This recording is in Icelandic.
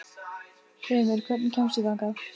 Hreimur, hvernig kemst ég þangað?